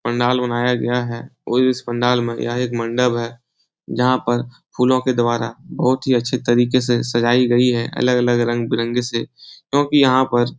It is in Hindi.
पंडाल बनाया गया है और इस पंडाल में यह एक मंडप है जहा पर फूलो के द्वारा बहुत ही अच्छे तरीके से सजाई गई है अलग-अलग रंग-बिरंगे से क्योकि यहाँ पर --